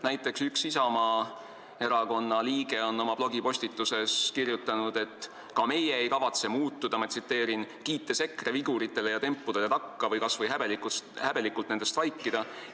Näiteks on üks Isamaa erakonna liige oma blogipostituses kirjutanud: "Aga ka meie ei kavatse muutuda, kiites EKRE viguritele ja tempudele takka või kas või häbelikult nendest vaikida.